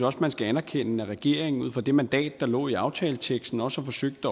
også man skal anerkende at regeringen ud fra det mandat der lå i aftaleteksten også har forsøgt at